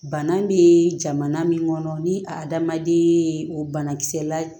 Bana be jamana min kɔnɔ ni adamaden ye banakisɛ la